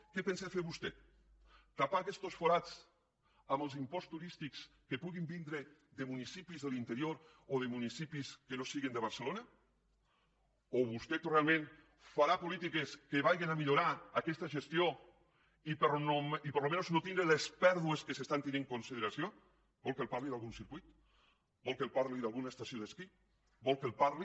què pensa fer vostè tapar aquestos forats amb els imposts turístics que puguin vindre de municipis de l’interior o de municipis que no siguin de barcelona o vostè realment farà polítiques que vagen a millorar aquesta gestió i almenys no tindre les pèrdues que s’estan tenint en consideració vol que li parli d’algun circuit vol que li parli d’alguna estació d’esquí vol que li parli